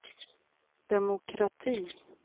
demokrati